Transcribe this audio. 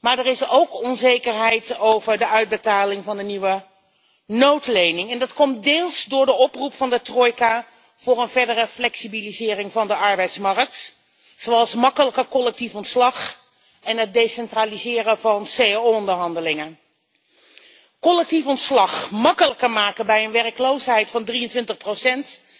maar er is ook onzekerheid over de uitbetaling van de nieuwe noodlening en dat komt deels door de oproep van de trojka voor een verdere flexibilisering van de arbeidsmarkt, zoals gemakkelijker collectief ontslag en het decentraliseren van cao onderhandelingen. Collectief ontslag gemakkelijker maken bij een werkloosheid van 23 procent